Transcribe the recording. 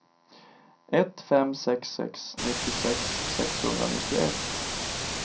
ett fem sex sex nittiosex sexhundranittioett